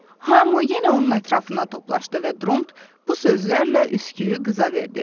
Hamı yenə onun ətrafına toplaşdı və Dront bu sözlərlə üsküyü qıza verdi.